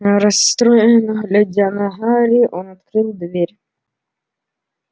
расстроенно глядя на гарри он открыл дверь